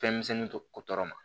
Fɛnmisɛnnin to tɔ ma